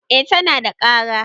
eh tana da kara